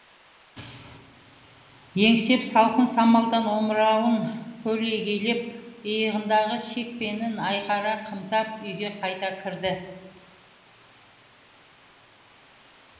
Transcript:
еңсеп салқын самалдан омырауын көлегейлеп иығындағы шекпенін айқара қымтап үйге қайта кірді